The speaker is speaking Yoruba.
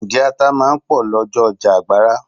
Ǹjẹ́ ata máa ń pò lọ́jọ́ ọjà Àgbàrá?